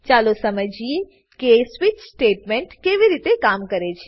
ચાલો સમજીએ કે સ્વિચ સ્ટેટમેંટ કેવી રીતે કામ કરે છે